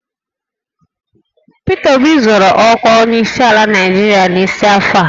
Pita Obi zọrọ ọkwa onyeisiala Naịjirịa n'isi afọ a